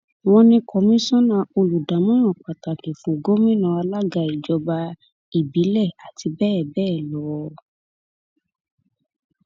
wọn ní kọmíṣánná olùdámọràn pàtàkì fún gómìnà alága ìjọba ìbílẹ àti bẹẹ bẹẹ lọ